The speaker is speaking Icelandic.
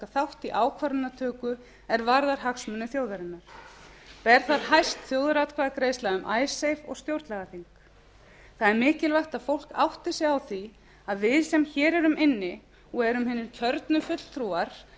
þátt í ákvarðanatöku er varðar hagsmuni þjóðarinnar ber þar hæst þjóðaratkvæðagreiðsla um icesave og stjórnlagaþing það er mikilvægt að fólk átti sig á því að við sem hér erum inni og erum hinir kjörnu fulltrúar